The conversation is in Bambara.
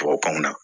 Tubabukanw na